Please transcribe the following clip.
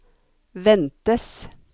ventes